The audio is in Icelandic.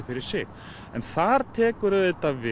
fyrir sig en þar tekur auðvitað við